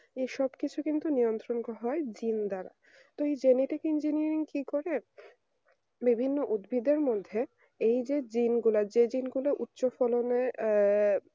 সবকিছু কিন্তু নিয়ন্ত্রণ হয় জিন দ্বারা genetic engineer কি করে বিভিন্ন উদ্ভিদের মধ্যে এই যে জিন গুলা যে জিন উচ্চ ফলনের আহ